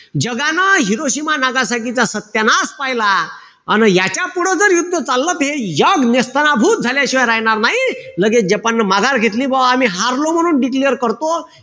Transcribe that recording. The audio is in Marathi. जगानं हिरोशिमा-नागासाकीचा सत्यानाश पहिला. अन याच्यापुढं जर युद्ध चाललं त हे जग नेस्तनाबूत झाल्याशिवाय राहणार नाई. लगेच जपाननं माघार घेतली, बा आम्ही हरलो म्हणून declare करतो.